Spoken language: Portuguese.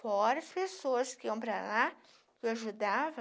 Fora as pessoas que iam para lá, que eu ajudava.